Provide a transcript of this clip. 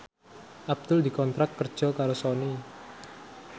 Abdul dikontrak kerja karo Sony